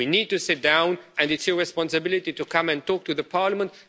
We need to sit down, and it's your responsibility to come and talk to Parliament.